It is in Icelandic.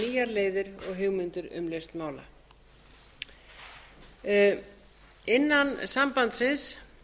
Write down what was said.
leiðir og hugmyndir um lausn mála innan sambandsins